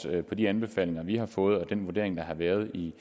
af de anbefalinger vi har fået og den vurdering der er lavet i